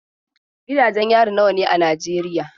Gidajen yari nawa ne a Najeriya?